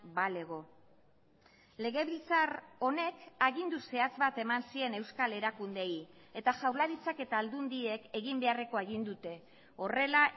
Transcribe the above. balego legebiltzar honek agindu zehatz bat eman zien euskal erakundeei eta jaurlaritzak eta aldundiek egin beharrekoa egin dute horrela